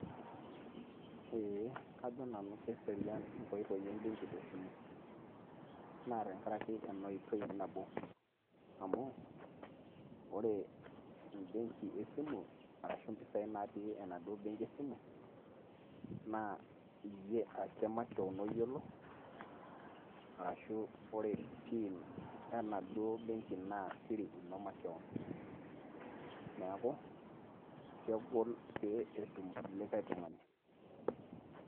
Eeh, kajo nanu kesrian inkoitoi embeng'i te simu , naa tenkaraike enoitoi nabo, amu kore embeng'i esimu arashu impisai natii enaduo beng'i esimu naa iyie ake makewon oyiolo arashu kore pin enaduo beng'i ino naa siri ino makewon, neaku kegol pee etum likai tung'ani.